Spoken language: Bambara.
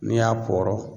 N'i y'a pɔɔrɔ